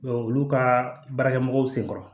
olu ka baarakɛmɔgow senkɔrɔ